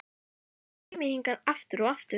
enda kem ég hingað aftur og aftur.